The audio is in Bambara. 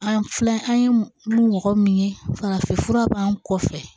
An filɛ an ye mɔgɔ min ye farafin fura b'an kɔfɛ